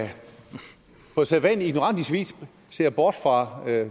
på sædvanlig ignorant vis ser bort fra